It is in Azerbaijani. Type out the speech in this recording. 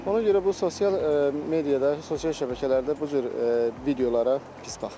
Ona görə bu sosial mediada, sosial şəbəkələrdə bu cür videolara pis baxıram.